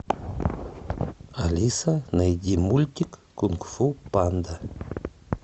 алиса найди мультик кунг фу панда